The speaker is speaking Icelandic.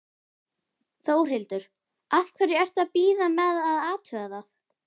Þórhildur: Af hverju ertu að bíða með að athuga það?